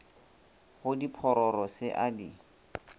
go diphororo se a di